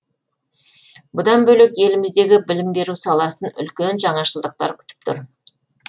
бұдан бөлек еліміздегі білім беру саласын үлкен жаңашылдықтар күтіп тұр